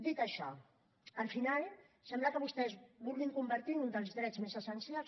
dit això al final sembla que vostès vulguin convertir un dels drets més essencials